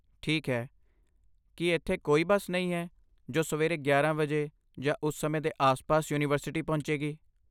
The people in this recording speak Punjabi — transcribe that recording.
ਠੀਕ ਹੈ, ਕੀ ਇੱਥੇ ਕੋਈ ਬੱਸ ਨਹੀਂ ਹੈ ਜੋ ਸਵੇਰੇ ਗਿਆਰਾਂ ਵਜੇ ਜਾਂ ਉਸ ਸਮੇਂ ਦੇ ਆਸ ਪਾਸ ਯੂਨੀਵਰਸਿਟੀ ਪਹੁੰਚੇਗੀ?